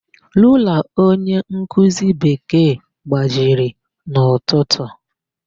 Rula onyenkuzi Bekee gbajiri n'ụtụtụ.